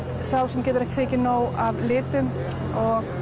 sá sem getur ekki fengið nóg af litum og